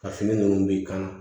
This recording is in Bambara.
Ka fini ninnu b'i kan